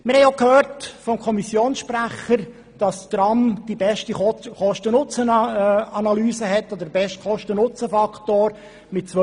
Wie wir vom Kommissionssprecher gehört haben, weist das Tram die beste Kosten-Nutzen-Analyse und mit 2,6 den besten Kosten-Nutzen-Faktor aus.